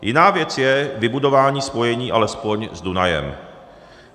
Jiná věc je vybudování spojení alespoň s Dunajem.